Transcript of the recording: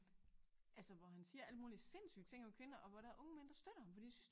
Altså hvor han siger alle mulige sindssyge ting om kvinder og hvor der er unge mænd der støtter ham fordi de synes